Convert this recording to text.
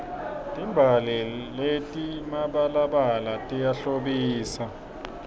timbali letimabalabala tiyahlobisa